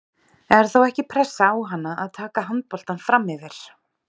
Er þá ekki pressa á hana að taka handboltann framyfir?